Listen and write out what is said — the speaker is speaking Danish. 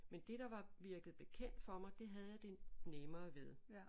Men det der var virkede bekendt for mig det havde jeg det nemmere ved